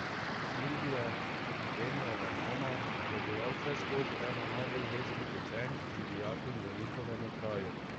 Silvija, Zdenijeva mama, je bila vseskozi ena najbolj vestnih učenk in dijakinj v njihovem okraju.